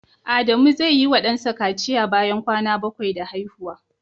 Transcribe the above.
Adamu zai yi wa dansa kaciya bayan kwana 7 da haihuwa.